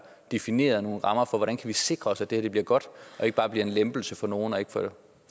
defineret nogle rammer for hvordan vi kan sikre os at det her bliver godt og ikke bare bliver en lempelse for nogle og ikke